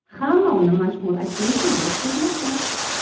Hamma uni mashhur aktrisaga o‘xshatmoqda .